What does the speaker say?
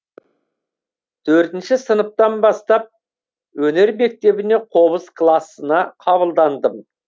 төртінші сыныптан бастап өнер мектебіне қобыз класына қабылдандым